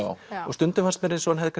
stundum fannst mér eins og hann hefði